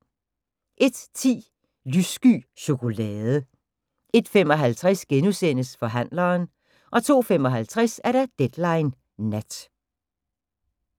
01:10: Lyssky chokolade 01:55: Forhandleren * 02:55: Deadline Nat